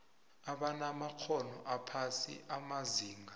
abanamakghono aphasi amazinga